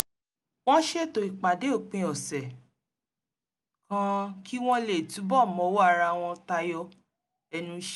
wọ́n ṣètò ìpàdé òpin ọ̀sẹ̀ kan kí wọ́n lè túbọ̀ mọwọ́ ara wọn tayọ ẹnu iṣẹ́